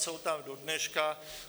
Jsou tam do dneška.